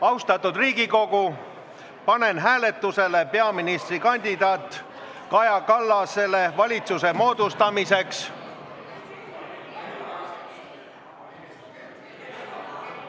Austatud Riigikogu, panen hääletusele peaministrikandidaat Kaja Kallasele valitsuse moodustamiseks ...